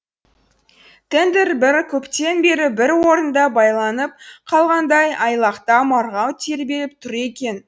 тендер көптен бері бір орында байланып қалғандай айлақта марғау тербеліп тұр екен